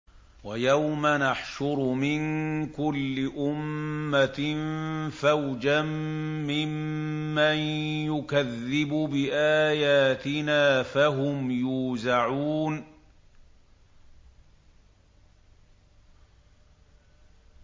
وَيَوْمَ نَحْشُرُ مِن كُلِّ أُمَّةٍ فَوْجًا مِّمَّن يُكَذِّبُ بِآيَاتِنَا فَهُمْ يُوزَعُونَ